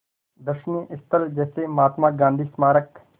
दर्शनीय स्थल जैसे महात्मा गांधी स्मारक